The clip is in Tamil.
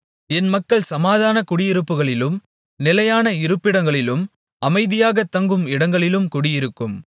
என் மக்கள் சமாதான குடியிருப்புகளிலும் நிலையான இருப்பிடங்களிலும் அமைதியாகத் தங்கும் இடங்களிலும் குடியிருக்கும்